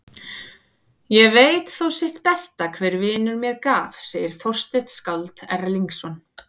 Ég veit þó sitt besta hver vinur mér gaf, segir Þorsteinn skáld Erlingsson.